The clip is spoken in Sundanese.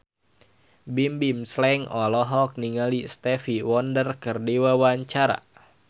Bimbim Slank olohok ningali Stevie Wonder keur diwawancara